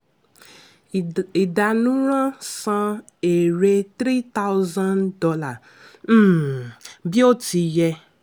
ìdánùràn: san èrè three thousand dollars um bí o ti yẹ.